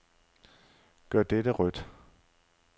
Gør dette rødt.